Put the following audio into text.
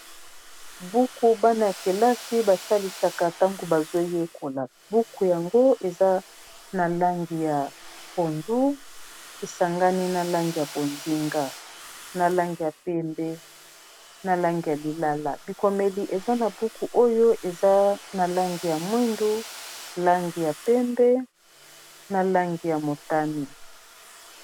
Buku bana ya kelasi basalisaka ntango bazoyekola buku yango eza na langi ya pondu esangani na langi ya pozinga na langi ya pembe na langi ya lilala bikomeli eza na buku oyo eza na langi ya mwindu langi ya pembe na langi ya motani